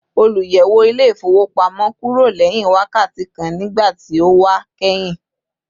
Oluyẹwo ile-ifowopamọ kúrò lẹ́hìn wákàtí kan nígbàtí ó wa kẹhin